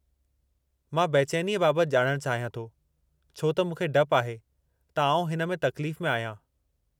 मां बेचैनीअ बाबति ॼाणणु चाहियां थो छो त मूंखे डपु आहे त आउं हिन में तकलीफ़ में आहियां।